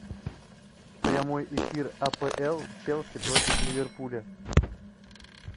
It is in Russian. прямой эфир апл челси против ливерпуля